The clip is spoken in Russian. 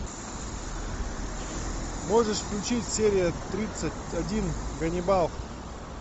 можешь включить серия тридцать один ганнибал